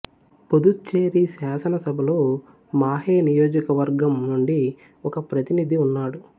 పుదుచ్చేరి శాసనసభలో మాహే నియోజక వర్గం నుండి ఒక ప్రతినిధి ఉన్నాడు